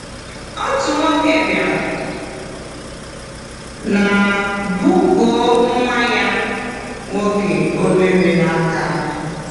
Otu nwoke bịara na bukoo nwa ya nwoke obere n’aka.